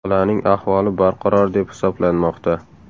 Bolaning ahvoli barqaror deb hisoblanmoqda.